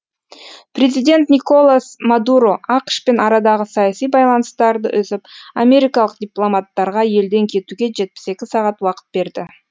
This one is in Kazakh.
президент николас мадуро ақш пен арадағы саяси байланыстарды үзіп америкалық дипломаттарға елден кетуге жетпіс екі сағат уақыт берді